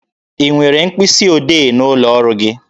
Ị nwere mkpịsi odee n'ụlọ ọrụ gị?